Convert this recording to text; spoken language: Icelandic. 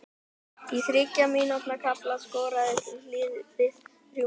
Á þriggja mínútna kafla skoraði liðið þrjú mörk.